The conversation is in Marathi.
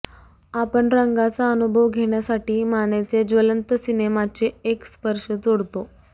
आपण रंगाचा अनुभव घेण्यासाठी मानेचे ज्वलंत सिनेनाचे एक स्पर्श जोडतो